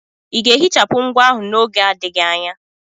Ị ga-ehichapụ ngwa ahụ n'oge adịghị anya?